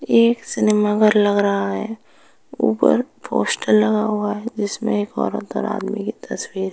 ये एक सिनेमा घर लग रहा है। ऊपर पोस्टर लगा हुआ है जिसमे एक औरत और आदमी की तस्वीर है।